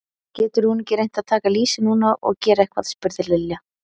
Getur hún ekki reynt að taka lýsi núna og gera eitthvað? spurði Lilla.